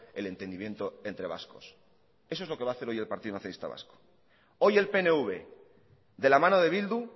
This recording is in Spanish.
el entendimiento entre vascos eso es lo que va hacer hoy el partido nacionalista vasco hoy el pnv de la mano de bildu